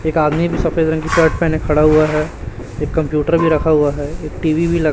एक आदमी भी सफेद रंग की शर्ट पहने खड़ा हुआ है एक कंप्यूटर भी रखा हुआ है एक टीवी ल--